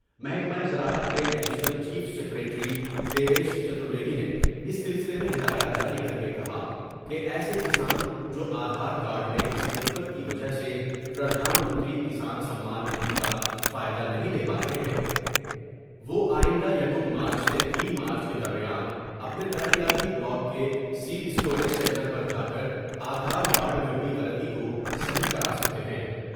محکمہ زراعت کے additional chief secretary Devesh Chaturvedi نے اس سلسلے میں ہدایات جاری کر کے کہا کہ ایسے کسان جوآ دھار کارڈ میں کسی دقت کی وجہ سے پردھان منتری کسان سممان ندھی کا فائدہ نہیں لے پارہے ہیں ، وہ آئندہ کیم مارچ سے تین مارچ کے درمیان اپنے ترقیاتی بلاک کے سیڈ اسٹوریج سینٹر پر جا کر آدھار کارڈ میں ہوئی غلطی کو صیح کرا سکتے ہیں ۔